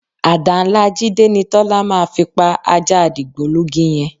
Àdá ńlá Jídé ni Tọ́lá máa fi pa ajá dìgbòlugi yẹn